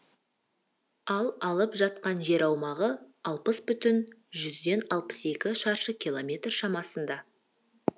ал алып жатқан жер аумағы алпыс бүтін жүзден алпыс екі шаршы километр шамасында